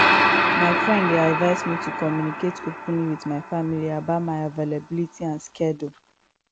my friend dey advise me to communicate openly with my family about my availability and schedule